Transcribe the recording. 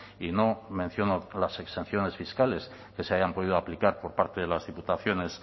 y no menciono las exenciones fiscales que se hayan podido aplicar por parte de las diputaciones